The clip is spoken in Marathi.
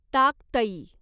ताकतई